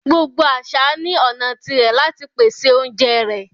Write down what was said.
Gbogbo àṣà ni ọna tí rẹ̀ lati pèsè ọ̀unjẹ rẹ